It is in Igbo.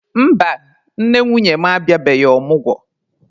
Mba, nne nwunye m abịabeghị omụgwo.